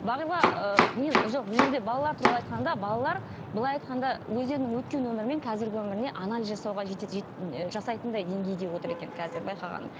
бағила ыыы мен жоқ бұл жерде балалар туралы айтқанда балалар былай айтқанда өздерінің өткен өмірі мен қазіргі өміріне анализ жасауға і жасайтындай деңгейде отыр екен қазір байқағаным